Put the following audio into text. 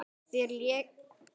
Þeir léku illa.